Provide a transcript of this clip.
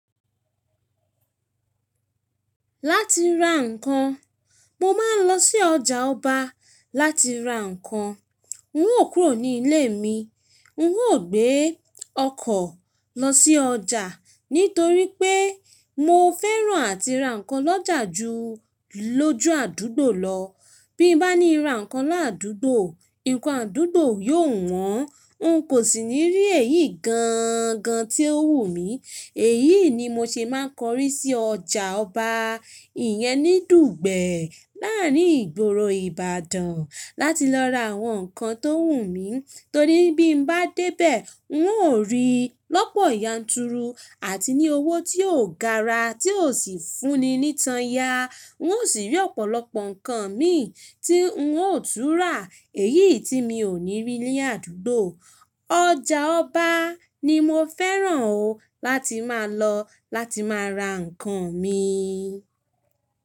Láti ra ǹkan, mo máa ń lọ sí ọjà ọba láti ra ǹkan. N ó kúrò ní ilé mi, n ó gbé ọkọ̀ lọ sí ọjà nítorí pé mo fẹ́ràn àti ra ǹkan lọ́jà ju lójú àdúgbò lọ. Bí bá ní ra ǹkan ládùgbo, nǹkan àdúgbò yóò wọ́n, n kò sì ní rí èyí gaan gan tí ó wù mí. Èyí ni mo ṣe máa ń korí sí ọjà ọba ìyẹn ní Dùgbẹ̀ láàrín ìgboro Ìbàdàn láti lọ ra àwọn ǹkan tó wù mí torí bí bá dé bẹ̀, n ó rí lọ́pọ̀ ya n turu àti ní owó tí ó gara tí ó sì fuuni ni ìtàn ya n ó sì rí ọ̀pọ̀lọpọ̀ ǹkan mi tí wun ó tún ra èyí tí mi ò ní rí ní àdúgbò ọjà ọba ni mo fẹ́ràn o láti máa lọ láti máa ra ǹkan mi.